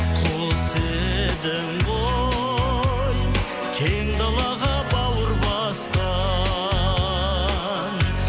құс едің ғой кең далаға бауыр басқан